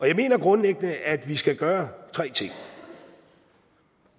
jeg mener grundlæggende at vi skal gøre tre ting